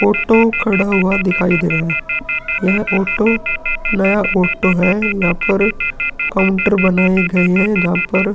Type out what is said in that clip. Auto खड़ा हुआ दिखाई दे रहा है। यह ऑटो नया ऑटो है। यहाँ पर काउंटर बनाये गए हैं। जहाँ पर --